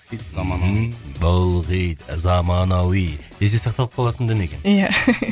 хит заманауи мхм бұл хит заманауи есте сақталып қалатын дүние екен иә